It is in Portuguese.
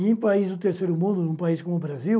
E em países do terceiro mundo, em um país como o Brasil,